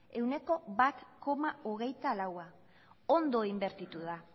ehuneko bat koma hogeita laua ondo inbertitu da